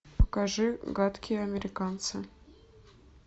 покажи гадкие американцы